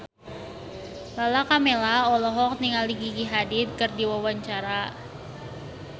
Lala Karmela olohok ningali Gigi Hadid keur diwawancara